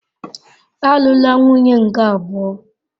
Alụla nwunye nke abụọ!